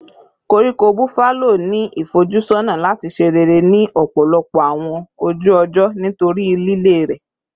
Koríko Buffalo ni ifojusọna lati ṣe rere ni ọpọlọpọ awọn oju-ọjọ nitori lile rẹ